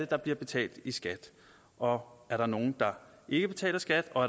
der bliver betalt i skat om der er nogen der ikke betaler skat og